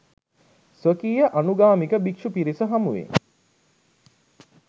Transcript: ස්වකීය අනුගාමික භික්‍ෂු පිරිස හමුවේ